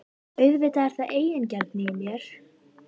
Auðvitað er þetta eigingirni í mér.